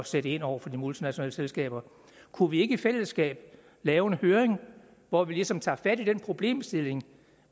sætte ind over for de multinationale selskaber kunne vi ikke i fællesskab lave en høring hvor vi ligesom tager fat i den problemstilling og